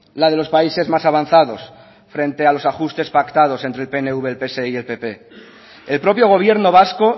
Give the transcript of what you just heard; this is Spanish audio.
la de los países más avanzados frente a los ajustes pactados entre el pnv el pse y el pp el propio gobierno vasco